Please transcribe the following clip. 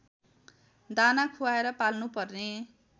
दाना खुवाएर पाल्नुपर्ने